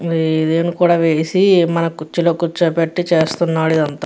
ఇది ఇదేం కూడా వేసి మన కుర్చీలో కూర్చోపెట్టి చేస్తున్నాడు ఇదంతా.